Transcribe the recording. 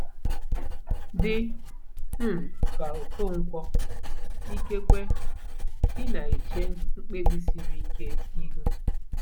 Dị um ka Okonkwo, ikekwe ị na-eche mkpebi siri ike ihu.